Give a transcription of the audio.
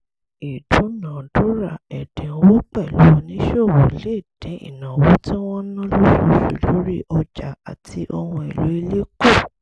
ìdúnàádúrà ẹ̀dínwó pẹ̀lú oníṣòwò lè dín ìnáwó tí wọ́n ń ná lóṣooṣù lórí ọjà àti ohun èlò ilé kù